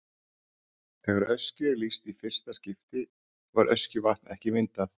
Þegar Öskju er lýst í fyrsta skipti var Öskjuvatn ekki myndað.